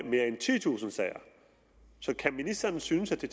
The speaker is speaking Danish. mere end titusind sager så kan ministeren synes at det